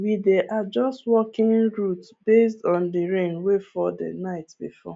we dey adjust walking routes based on the rain wey fall the night before